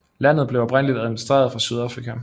Landet blev oprindeligt administreret fra Sydafrika